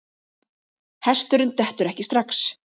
Hesturinn dettur ekki strax.